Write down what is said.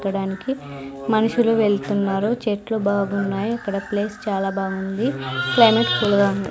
ఎక్కడానికి మనుషులు వెళ్తున్నారు చెట్లు బాగున్నాయి ఇక్కడ ప్లేస్ చాలా బాగుంది క్లైమేట్ కూల్ గా ఉంది.